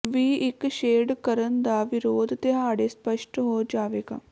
ਵੀ ਇੱਕ ਸ਼ੇਡ ਕਰਨ ਦਾ ਵਿਰੋਧ ਦਿਹਾੜੇ ਸਪੱਸ਼ਟ ਹੋ ਜਾਵੇਗਾ